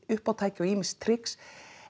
uppátæki og ýmis trix